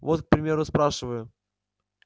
вот к примеру спрашиваю